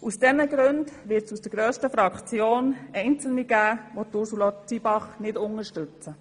Aus diesen Gründen wird es in der grössten Fraktion Einzelne geben, die Ursula Zybach nicht unterstützen.